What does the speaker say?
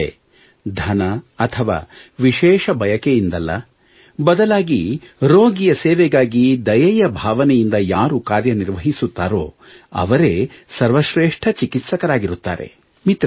ಅಂದರೆ ಧನ ಅಥವಾ ವಿಶೇಷ ಬಯಕೆಯಿಂದಲ್ಲ ಬದಲಾಗಿ ರೋಗಿಯ ಸೇವೆಗಾಗಿ ದಯೆಯ ಭಾವನೆಯಿಂದ ಯಾರು ಕಾರ್ಯನಿರ್ವಹಿಸುತ್ತಾರೋ ಅವರೇ ಸರ್ವಶ್ರೇಷ್ಠ ಚಿಕಿತ್ಸಕರಾಗಿರುತ್ತಾರೆ